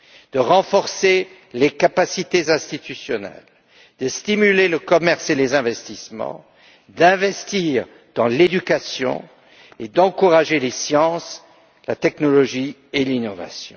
de renforcer les capacités institutionnelles, de stimuler le commerce et les investissements, d'investir dans l'éducation et d'encourager les sciences, la technologie et l'innovation.